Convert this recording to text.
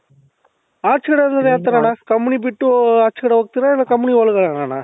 ಆಚೆ ಕಡೆ ಅಂದ್ರೆ ಯಾವ ತರಾಣ್ಣ company ಬಿಟ್ಟು ಅಚೆ ಕಡೆ ಹೋಗ್ತಿರಾ ಇಲ್ಲ company ಒಳಗಡೆನೆನ ?